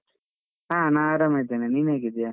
ಹಾ ನಾನ್ ಆರಾಮಿದ್ದೇನೆ. ನೀನ್ ಹೇಗಿದ್ದೀಯಾ?